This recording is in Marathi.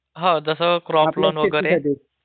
हो जस क्रॉप्लॉन वगैरे